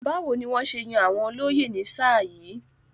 Báwo ni wọ́n ṣe yàn àwọn olóyè ní sáà yìí?